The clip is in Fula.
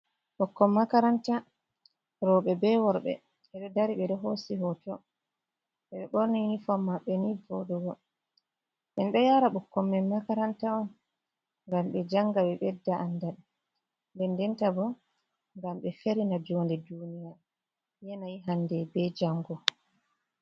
Ɓikkol makaranta roɓe be worɓe ɓe ɗo dari ɓe ɗo hosi hoto eɓe ɓorni unifor maɓɓe ni voɗugo en ɗo yara ɓukkoi min makaranta on ngam ɓe janga ɓe ɓedda andal ɓe ndenta bo ngam be ferina jounde duniya yenayi hande be jango.